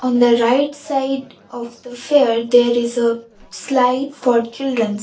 in the right side of the fair there is a slide for childrens.